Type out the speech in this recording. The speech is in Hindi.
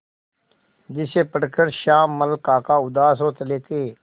जिसे पढ़कर श्यामल काका उदास हो चले थे